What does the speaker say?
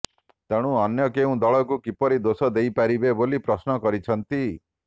ତେଣୁ ଅନ୍ୟ କେଉଁ ଦଳଙ୍କୁ କିପରି ଦୋଷ ଦେଇପାରିବେ ବୋଲି ପ୍ରଶ୍ନ କରିଛନ୍ତି